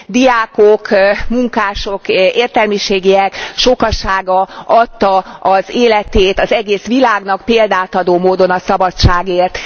Diákok, munkások, értelmiségiek sokasága adta az életét az egész világnak példát adó módon a szabadságért.